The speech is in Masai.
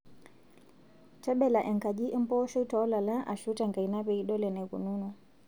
Tebela enkaji empooshoi toolala Ashu tenkaina pee idol enikununo